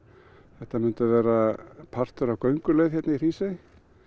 þetta myndi verða partur af gönguleið í Hrísey